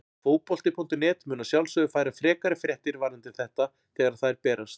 Fótbolti.net mun að sjálfsögðu færa frekari fréttir varðandi þetta þegar að þær berast.